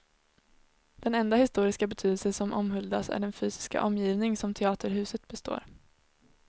Den enda historiska betydelse som omhuldas är den fysiska omgivning som teaterhuset består.